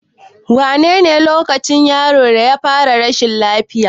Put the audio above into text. Wane lokaci yaron ya fara rashin lafiya?